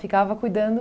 cuidando?